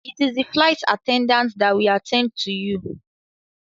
It is the flight attendant that will attend to you.